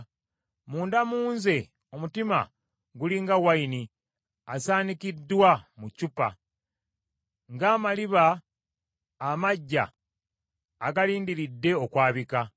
Munda mu nze omutima guli nga wayini, asaanikiddwa mu ccupa, ng’amaliba amaggya agalindiridde okwabika.